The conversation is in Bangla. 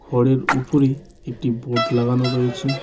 ঘরের উপরে একটি বোড লাগানো রয়েছে।